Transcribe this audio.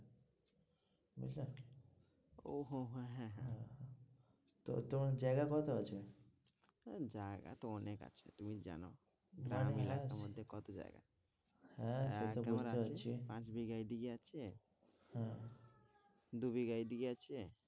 তো তোমার জায়গা কত আছে? আহ জায়গা তো অনেক আছে তুমি জানো কত জায়গা হ্যাঁ, সেটা বুঝতে পারছি, পাঁচ বিঘা এইদিকে আছে হ্যাঁ দু বিঘা এইদিকে আছে।